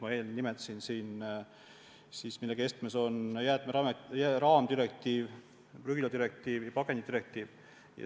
Ma enne juba nimetasin, keskmes on jäätmete raamdirektiiv, prügiladirektiiv ja pakendidirektiiv.